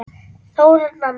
Þóra Nanna.